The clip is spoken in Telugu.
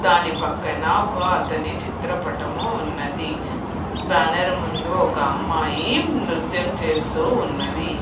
దాని పక్కన ఒక అతని చిత్ర పటము ఉన్నది. బ్యానర్ ముందు ఒక అమ్మాయి నృత్యం చేస్తూ ఉన్నది.